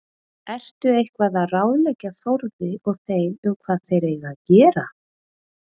Ertu eitthvað að ráðleggja Þórði og þeim um hvað þeir eiga að gera?